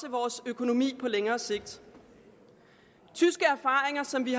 vores økonomi på længere sigt tyske erfaringer som vi